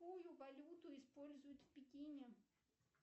какую валюту используют в пекине